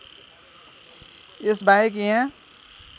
यस बाहेक यहाँ